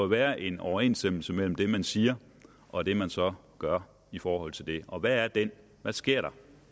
være en overensstemmelse mellem det man siger og det man så gør i forhold til det og hvad er den hvad sker der